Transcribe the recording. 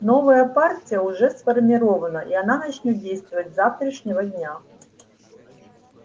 новая партия уже сформирована и она начнёт действовать с завтрашнего дня